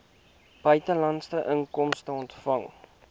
buitelandse inkomste ontvang